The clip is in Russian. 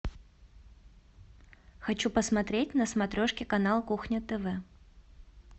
хочу посмотреть на смотрешке канал кухня тв